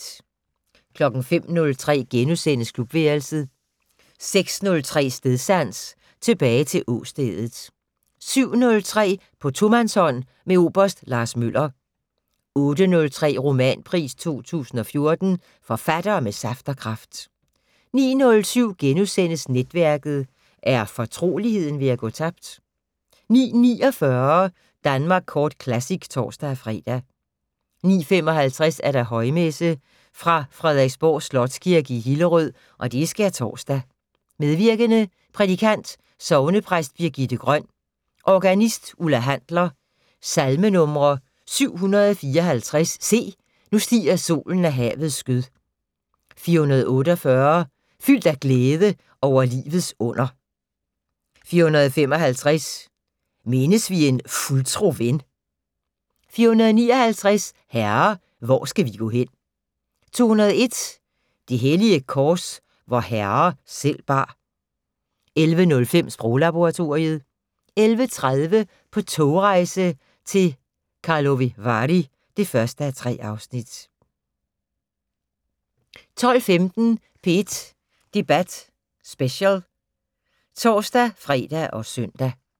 05:03: Klubværelset * 06:03: Stedsans: Tilbage til åstedet 07:03: På tomandshånd med oberst Lars Møller 08:03: Romanpris 2014: Forfattere med saft og kraft 09:07: Netværket: Er fortroligheden ved at gå tabt? * 09:49: Danmark Kort Classic (tor-fre) 09:55: Højmesse - Fra Frederiksborg Slotskirke, Hillerød. Skærtorsdag. Medvirkende: Prædikant: sognepræst Birgitte Grøn. Organist: Ulla Handler. Salmenumre: 754: "Se, nu stiger solen af havets skød". 448: "Fyldt af glæde over livets under". 455: "Mindes vi en fuldtro ven". 459: "Herre, hvor skal vi gå hen". 201: "Det hellige kors, vor Herre selv bar". 11:05: Sproglaboratoriet 11:30: På togrejse til Karlovy Vary (1:3) 12:15: P1 Debat Special (tor-fre og søn)